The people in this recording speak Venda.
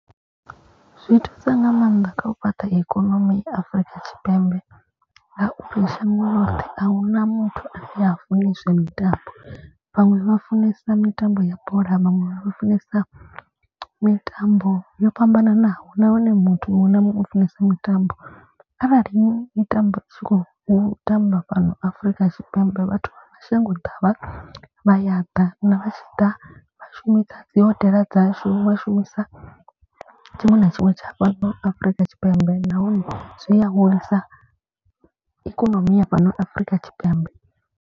Zwi thusa nga maanḓa kha u fhaṱa ikonomi Afrika Tshipembe. Nga uri shango loṱhe ahuna muthu ane ha funi zwa mitambo vhaṅwe vha funesa mitambo ya bola. Vhaṅwe vha funesa mitambo yo fhambananaho nahone muthu muṅwe na muṅwe u funesa mitambo. Arali i tamba i tshi khou tamba fhano afrika tshipembe vhathu mashango ḓavha vha ya ḓa na vha tshi ḓa. Vha shumisa dzi hodela dzashu vha shumisa tshiṅwe na tshiṅwe tsha fhano afurika tshipembe. Nahone zwi a hulisa ikonomi ya fhano afurika tshipembe.